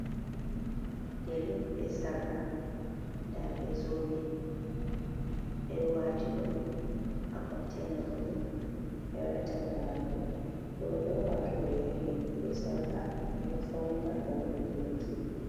"Yari on be sarka" ɗa be zobe ɓe ɗo wati ɗum ha konteina muɗum ɓe ɗo waɗa talla majum roɓe on wato ɓe yari be sarka ɓe ɗo faunira ngam yahugo ɓiki.